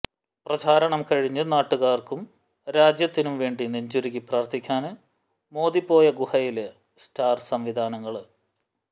പ്രചാരണം കഴിഞ്ഞ് നാട്ടുകാര്ക്കും രാജ്യത്തിനും വേണ്ടി നെഞ്ചുരുകി പ്രാര്ഥിക്കാന് മോദി പോയ ഗുഹയില് സ്റ്റാര് സംവിധാനങ്ങള്